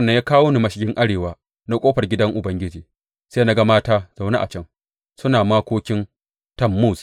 Sa’an nan ya kawo ni mashigin arewa na ƙofar gidan Ubangiji, sai na ga mata zaune a can, suna makokin Tammuz.